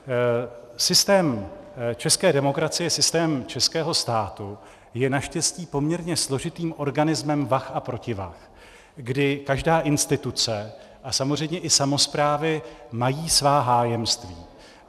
Systém české demokracie, systém českého státu je naštěstí poměrně složitým organismem vah a protivah, kdy každá instituce a samozřejmě i samosprávy mají svá hájemství.